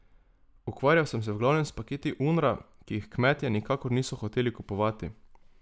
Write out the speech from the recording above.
Ukvarjal sem se v glavnem s paketi Unra, ki jih kmetje nikakor niso hoteli kupovati.